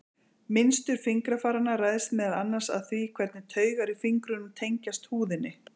Mynstur fingrafaranna ræðst meðal annars af því hvernig taugar í fingrunum tengjast húðinni.